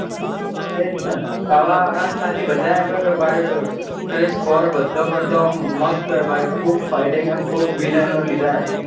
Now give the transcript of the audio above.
એ છ ન આવા ખાલી બધા એમ કોઈ ભાઈ ક્રીસ four બધા કરતા મસ્ત ઓમ fighting અને ખુબ villain ઓ લીધા હે.